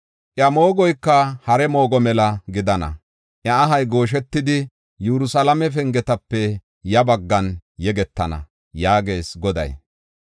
Iya moogoyka hare moogo mela gidana. Iya ahay gooshetidi, Yerusalaame pengetape ya baggan yegetana” yaagees Goday.